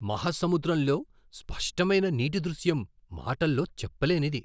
మహాసముద్రంలో స్పష్టమైన నీటి దృశ్యం మాటల్లో చెప్పలేనిది!